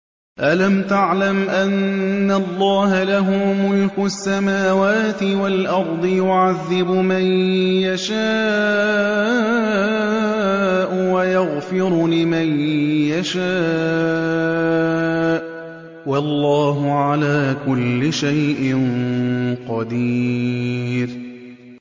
أَلَمْ تَعْلَمْ أَنَّ اللَّهَ لَهُ مُلْكُ السَّمَاوَاتِ وَالْأَرْضِ يُعَذِّبُ مَن يَشَاءُ وَيَغْفِرُ لِمَن يَشَاءُ ۗ وَاللَّهُ عَلَىٰ كُلِّ شَيْءٍ قَدِيرٌ